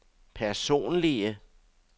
personlige